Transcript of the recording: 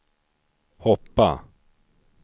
hoppa